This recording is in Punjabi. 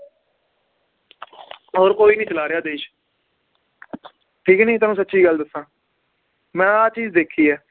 ਹੋਰ ਕੋਈ ਨੀ ਚਲਾ ਰਿਹਾ ਦੇਸ਼ ਠੀਕ ਨੀ ਤੁਹਾਨੂੰ ਸਚੀ ਗੱਲ ਦੱਸਾਂ, ਮੈ ਆਹ ਚੀਜ਼ ਦੇਖੀ ਏ